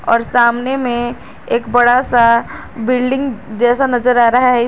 और सामने में एक बड़ा सा बिल्डिंग जैसा नजर आ रहा है।